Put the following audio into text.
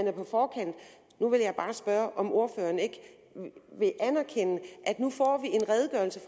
er på forkant nu vil jeg bare spørge om ordføreren ikke vil anerkende